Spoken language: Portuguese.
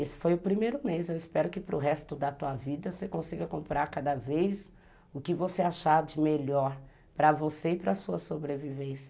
Esse foi o primeiro mês, eu espero que para o resto da tua vida você consiga comprar cada vez o que você achar de melhor para você e para a sua sobrevivência.